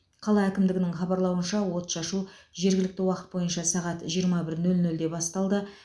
қала әкімдігінің хабарлауынша отшашу жергілікті уақыт бойынша сағат жиырма бір нөл нөлде басталды